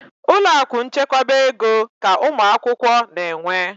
Ụlọakụ nchekwaba ego ka ụmụakwụkwọ na-enwe.